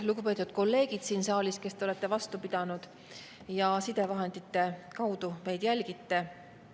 Lugupeetud kolleegid siin saalis, kes te olete vastu pidanud ja sidevahendite kaudu meid jälgite!